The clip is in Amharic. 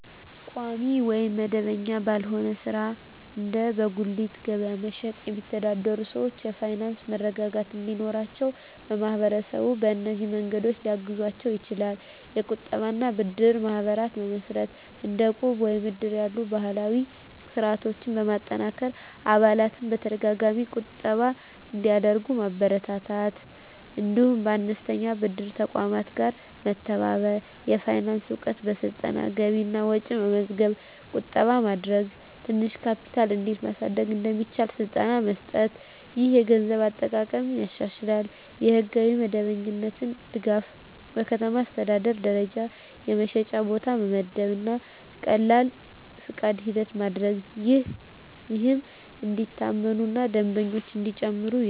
ቋሚ ወይም መደበኛ ባልሆነ ሥራ (እንደ በጉሊት ገበያ መሸጥ) የሚተዳደሩ ሰዎች የፋይናንስ መረጋጋት እንዲኖራቸው ማህበረሰቡ በእነዚህ መንገዶች ሊያግዛቸው ይችላል፦ የቁጠባ እና ብድር ማህበራት መመስረት – እንደ ዕቁብ ወይም እድር ያሉ ባህላዊ ስርዓቶችን በማጠናከር አባላት በተደጋጋሚ ቁጠባ እንዲያደርጉ ማበረታታት። እንዲሁም ከአነስተኛ ብድር ተቋማት ጋር መተባበር። የፋይናንስ እውቀት ስልጠና – ገቢና ወጪ መመዝገብ፣ ቁጠባ ማድረግ፣ ትንሽ ካፒታል እንዴት ማሳደግ እንደሚቻል ስልጠና መስጠት። ይህ የገንዘብ አጠቃቀምን ያሻሽላል። የሕጋዊ መደበኛነት ድጋፍ – በከተማ አስተዳደር ደረጃ የመሸጫ ቦታ መመደብ እና ቀላል ፈቃድ ሂደት ማድረግ፣ ይህም እንዲታመኑ እና ደንበኞች እንዲጨምሩ ይረዳል።